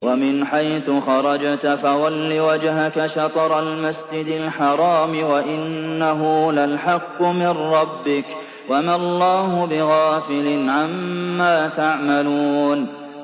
وَمِنْ حَيْثُ خَرَجْتَ فَوَلِّ وَجْهَكَ شَطْرَ الْمَسْجِدِ الْحَرَامِ ۖ وَإِنَّهُ لَلْحَقُّ مِن رَّبِّكَ ۗ وَمَا اللَّهُ بِغَافِلٍ عَمَّا تَعْمَلُونَ